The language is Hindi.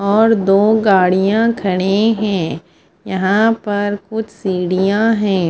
और दो गाडिया खड़ी है यहाँ पर कुछ सीढियाँ है।